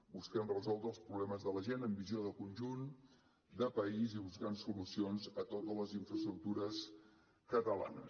busquem resoldre els problemes de la gent amb visió de conjunt de país i buscant solucions a totes les infraestructures catalanes